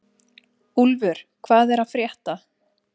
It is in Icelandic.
Úlfur, hvað er að frétta?